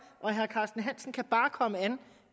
og herre carsten hansen kan bare komme an